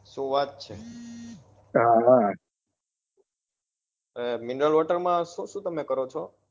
શું વાત છે mineral water શું શું તમે કરો છો?